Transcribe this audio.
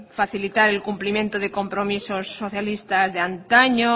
facilitar el cumplimiento de compromisos socialistas de antaño